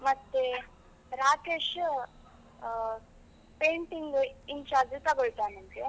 ಮತ್ತೆ, ರಾಕೇಶ್ ಆ painting incharge ತಗೋಳ್ತಾನಂತೆ.